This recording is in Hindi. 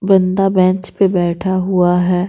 बंदा बेंच पर बैठा हुआ है।